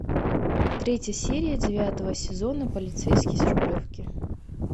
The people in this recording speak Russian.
третья серия девятого сезона полицейский с рублевки